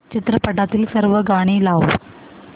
चित्रपटातील सर्व गाणी लाव